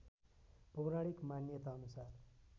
पौराणिक मान्यताअनुसार